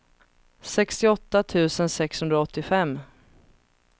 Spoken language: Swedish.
sextioåtta tusen sexhundraåttiofem